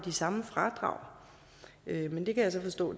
samme fradrag men det kan jeg så forstå